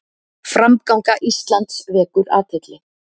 Framganga Íslands vekur athygli